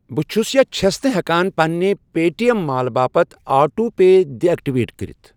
بہٕٕ چھُس یا چھَس نہٕ ہٮ۪کان پننہِ پے ٹی ایٚم مال باپتھ آٹو پے ڈِ ایکٹِویٹ کٔرِتھ